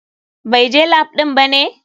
BAI je lap ɗin bane?